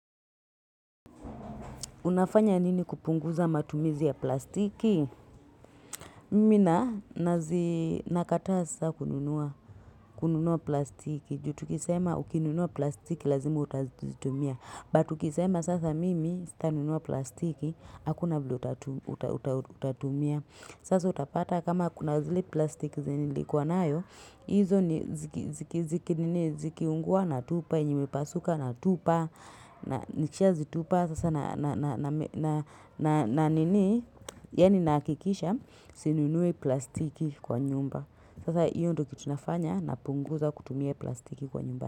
Unafanya nini kupunguza matumizi ya plastiki? Mina nazi nakataa sasa kununua plastiki. Jutukisema ukinunua plastiki lazima utazitumia. But ukisema sasa mimi sitanunua plastiki. Hakuna vile utatumia. Sasa utapata kama kuna zile plastiki zenye nilikuwa nayo. Izo ziki nini zikiungua na tupa. Zimepasuka na tupa. Nikishazitupa sasa na nini Yani nahakikisha sinunui plastiki kwa nyumba Sasa iyo ndo kitunafanya napunguza kutumia plastiki kwa nyumba.